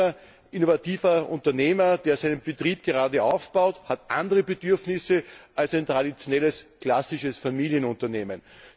Ein junger, innovativer Unternehmer, der seinen Betrieb gerade aufbaut, hat andere Bedürfnisse als ein traditionelles, klassisches Familienunternehmen.